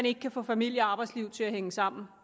ikke kan få familie og arbejdsliv til at hænge sammen